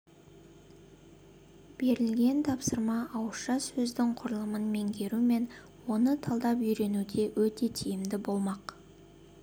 берілген тапсырма ауызша сөздің құрылымын меңгеру мен оны талдап үйренуде өте тиімді болмақ